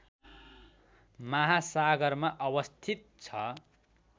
महासागरमा अवस्थित छ